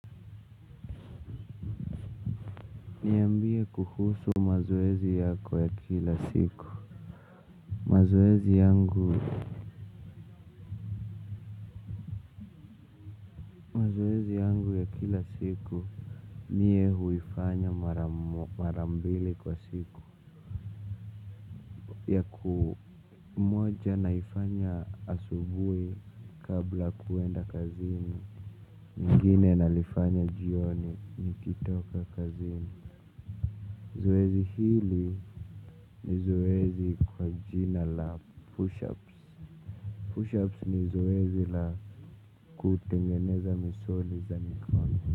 Niambie kuhusu mazoezi yako ya kila siku. Mazoezi yangu ya kila siku Mie huifanya mara mbili kwa siku. Moja naifanya asubuhi kabla kuenda kazini. Nyingine nalifanya jioni, nikitoka kazini. Zoezi hili ni zoezi kwa jina la 'push ups' 'push-ups' ni zoezi la kutengeneza misuli za mikono.